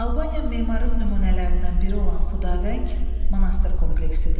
Albaniya memarlıq nümunələrindən biri olan Xudavəng monastır kompleksidir.